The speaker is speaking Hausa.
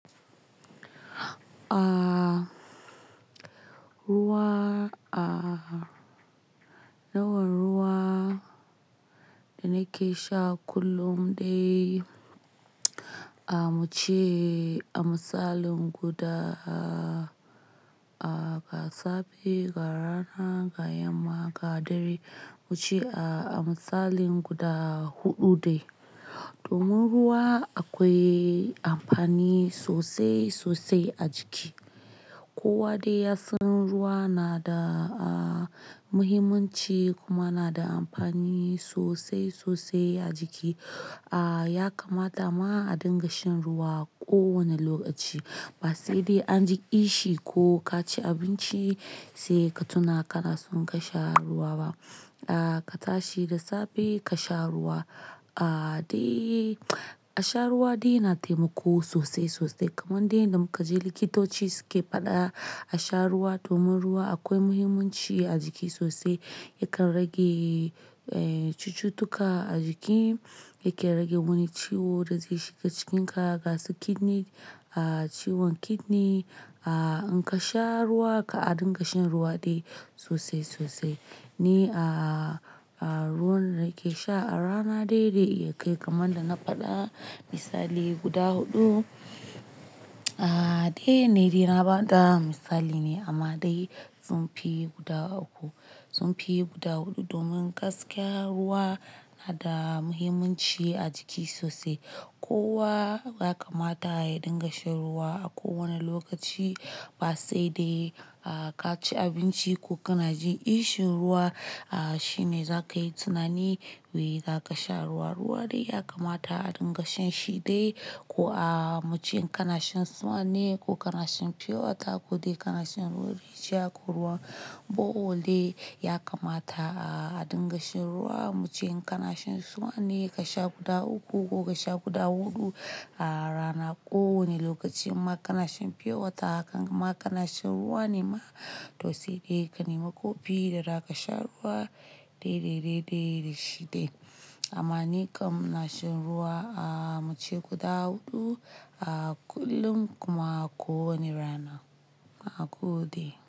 Ruwa, yawa ruwa da nake sha kullum dai a muce a misalin guda a ga safe, ga rana, ga yamma, ga dare muce a, a misalin guda huɗu dai. Domin ruwa akwai amfani sosai sosai a jiki. Kowa dai yasan ruwa na da a muhimmanci kuma na da amfani sosai sosai a jiki. A ya kamata ma a dinga shan ruwa ko wane lokaci ba sai dai an ji ishi ko ka ci abinci sai ka tuna kana son ka sha ruwa ba. A ka tashi da safe ka sha ruwa. A dai a sha ruwa dai na taimako sosai sosai kamar dai inda muka je likitoci suke faɗa a sha ruwa domin ruwa akwai muhimmanci a jiki sosai yakan rage eh cututtuka a jiki yake rage wani ciwo da zai shiga jikinka gasu kidney a ciwon kidney. A in ka sha ruwa ka a dinga shan ruwa dai sosai sosai ni a, a ruwan da kake sha a rana dai dai zai iya kai kaman da na faɗa misali guda huɗu. A dai ni dai na ba da misali ne amma dai sun fi guda uku sun fi guda huɗu domin gaskiya ruwa na da muhimmanci a jiki sosai. Kowa ya kamata ya dinga shan ruwa a kowane lokaci ba sai dai a ka ci abinci ko kana jin ishin ruwa. A shi ne za ka yi tunani wai za ka sha ruwa. Ruwa dai ya kamata a dinga shan shi dai ko a muce in kana shan swan ne ko kana shan pure water ko dai kana shan ruwa rijiya ko ruwan. Bohol dai ya kamata a dinga shan ruwa muce in kana shan swan ne ka sha guda uku ko ka sha guda huɗu a rana ko wani lokaci. In ma kana shan pure water haka in ma kana shan ruwa nema to sai dai ka nema kofi da za ka sha ruwa dai dai dai dai da shi dai. Amma nikam ina shan ruwa a muce gufa hudu a kullum kuma ko wani rana nagode,